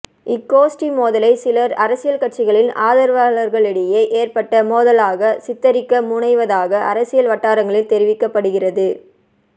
இக் கோஷ்டி மோதலை சிலர் அரசியல் கட்சிகளின் ஆதரவாளர்களிடையே ஏற்பட்ட மோதலாக சித்தரிக்க முனைவதாக அரசியல் வட்டாரங்களில் தெரிவிக்கப்படுகிறது